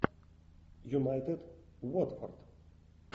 юнайтед уотфорд